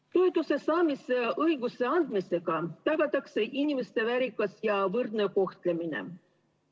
Toetuse saamise õiguse andmisega tagatakse inimeste väärikas ja võrdne kohtlemine.